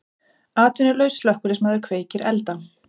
Atvinnulaus slökkviliðsmaður kveikir elda